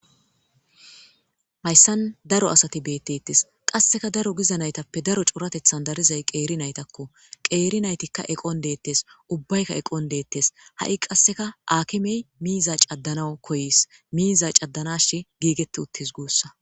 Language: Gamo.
Hayisan daro asati betetes qasika daro giza nayitape cooratethan dariday qera nayitako qeri nayitika eqon detes ubayika eqon de'etes hai qaseka akimey miza cadanawu koyes miza cadanas gigeti utis gusa